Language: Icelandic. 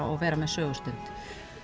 og vera með sögustund